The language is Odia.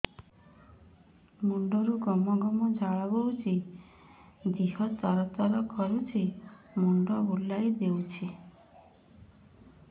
ମୁଣ୍ଡରୁ ଗମ ଗମ ଝାଳ ବହୁଛି ଦିହ ତର ତର କରୁଛି ମୁଣ୍ଡ ବୁଲାଇ ଦେଉଛି